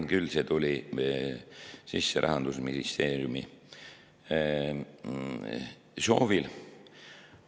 See tuli sisse Rahandusministeeriumi soovil.